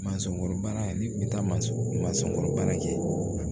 Mansɔnkɔrɔ baara ni kun bɛ taa mansɔnkɔrɔbaara kɛ